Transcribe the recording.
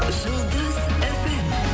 жұлдыз фм